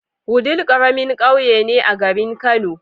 Wudil karamin ƙauye ne a garin kani